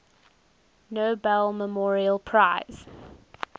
nobel memorial prize